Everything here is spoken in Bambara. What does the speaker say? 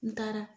N taara